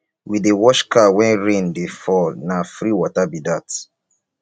we dey wash car wen rain dey fall na free water be dat